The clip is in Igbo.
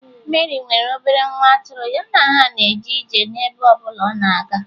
Meri nwere obere nwa atụrụ, ya na ha na-eje ije n'ebe ọ bụla ọ na-aga